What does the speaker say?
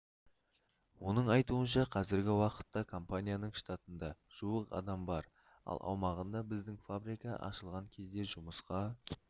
оның айтуынша қазіргі уақытта компанияның штатында жуық адам бар ал аумағында біздің фабрика ашылған кезде жұмысқа